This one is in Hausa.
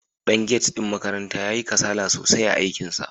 Dan gate ɗin makaranta yayi kasala sosai a aikinsa.